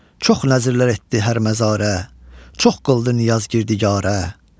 Çox nəzirlər etdi hər məzarə, çox qıldı niyaz gürdigarə.